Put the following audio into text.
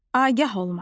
Agah olmaq.